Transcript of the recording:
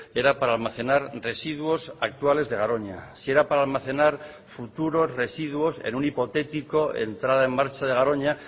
era para almacenar residuos actuales de garoña si era para almacenar futuros residuos en un hipotético entrada en marcha de garoña